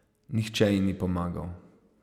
Nihče ji ni pomagal.